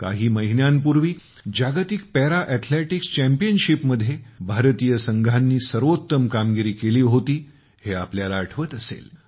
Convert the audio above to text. काही महिन्यांपूर्वी जागतिक पॅरा एथलेटिक्स चॅम्पियनशिपमध्ये भारतीय संघांनी सर्वोत्तम कामगिरी केली होती हे तुम्हाला आठवत असेल